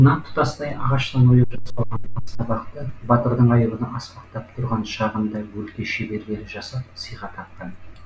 мына тұтастай ағаштан ойып жасалған астабақты батырдың айбыны асқақтап тұрған шағында өлке шеберлері жасап сыйға тартқан